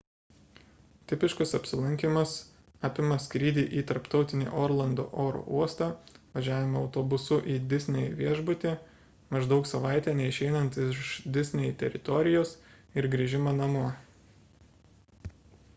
tipiškas apsilankymas apima skrydį į tarptautinį orlando oro uostą važiavimą autobusu į disney viešbutį maždaug savaitę neišeinant iš disney teritorijos ir grįžimą namo